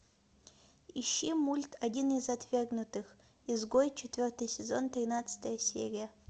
ищи мульт один из отвергнутых изгой четвертый сезон тринадцатая серия